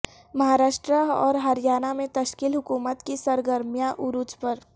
مہاراشٹرا اور ہریانہ میں تشکیل حکومت کی سرگرمیاں عروج پر